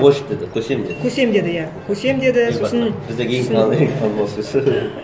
лошадь деді көсем деді көсем деді иә көсем деді сосын біздегі ең танымал сөз